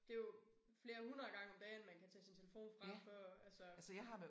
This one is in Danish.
Det jo flere hundrede gange om dagen man kan tage sin telefon frem for altså